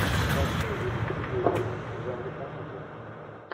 хочу увидеть видеофильм в жанре комедия